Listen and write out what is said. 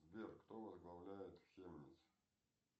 сбер кто возглавляет хемниц